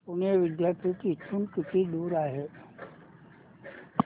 पुणे विद्यापीठ इथून किती दूर आहे